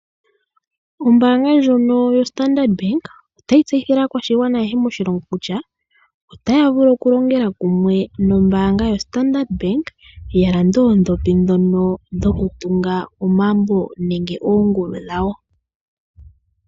Ombaanga ndjono yoStandard Bank otayi tseyithile aakwashigwana ayehe moshilongo kutya otaya vulu oku longela kumwe nombaanga yoStandard Bank ya lande oondhopi ndhono dhoku tunga omagumbo nenge oongulu dhawo.